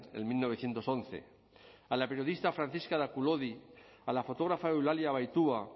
en mil novecientos once a la periodista francisca de aculodi a la fotógrafa eulalia abaitua